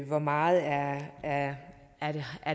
hvor meget